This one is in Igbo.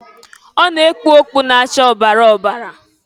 Ọ na-ekpu ọkpụ na-acha ọbara ọbara.